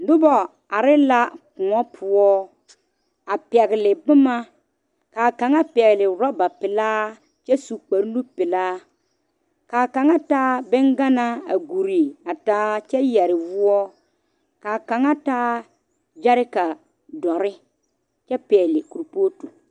Noba are la kõɔ poɔ a pegle boma kaa kaŋa pegle oroba pelaa kyɛ su kpare nu pelaa kaa kaŋa taa bonganaa a gure a taa kyɛ yeere woɔ kaa kaŋa taa gyereka doɔre kyɛ pegle kurpoti.